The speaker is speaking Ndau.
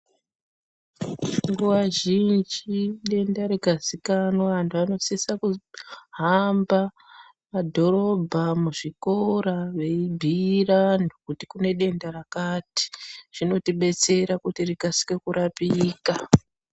Nguwa zhinji denda rikazikanwa antu anosisa kuhamba mumadhorobha muzvikora veibhiira antu kuti kune denda rakati zvinotidetsera kuti rikasire kurapika.